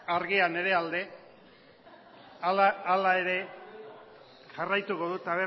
argia nire alde hala ere jarraituko dut